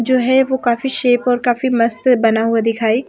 जो है वो काफी शेप और मस्त बना हुआ दिखाई--